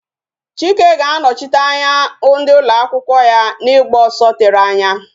Chike ga-anọchite anya ndị ụlọ akwụkwọ ya n'ịgba ọsọ tere anya